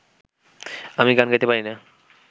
আমি গান গাইতে পারি না